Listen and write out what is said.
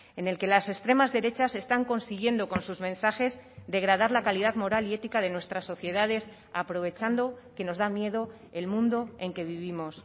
en el que las extremas derechas están consiguiendo con sus mensajes degradar la calidad moral y ética de nuestras sociedades aprovechando que nos da miedo el mundo en que vivimos